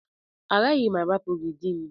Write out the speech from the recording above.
Agaghị m arapu gị di m.